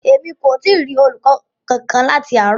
Emi ko ti rí olùkọ kánkan láti àárò.